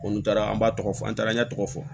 Olu taara an b'a tɔgɔ fɔ an taara ɲɛ tɔgɔ fɔ